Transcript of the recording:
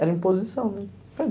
Era imposição, né.